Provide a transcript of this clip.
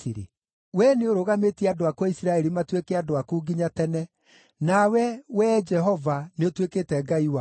Wee nĩũrũgamĩtie andũ aku a Isiraeli matuĩke andũ aku nginya tene, nawe, Wee Jehova nĩũtuĩkĩte Ngai wao.